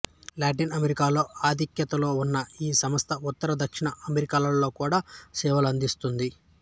Latin అమెరికాలో ఆధిక్యతలో ఉన్న ఈ సంస్థ ఉత్తర దక్షిణ అమెరికాలలో కూడా సేవలు అందిస్తుంది